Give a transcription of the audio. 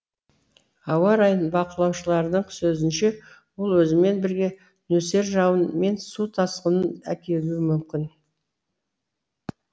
ауа райын бақылаушылардың сөзінше ол өзімен бірге нөсер жауын мен су тасқынын әкелуі мүмкін